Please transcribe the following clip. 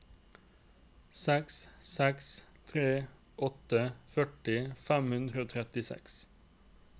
seks seks tre åtte førti fem hundre og trettiseks